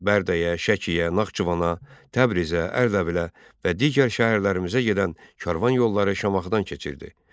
Bərdəyə, Şəkiyə, Naxçıvana, Təbrizə, Ərdəbilə və digər şəhərlərimizə gedən karvan yolları Şamaxıdan keçirdi.